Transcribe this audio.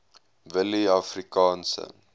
willieafrikaanse